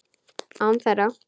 Án þeirra.